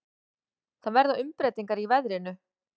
Það verða umbreytingar í veðrinu.